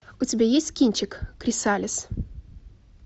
у тебя есть кинчик крисалис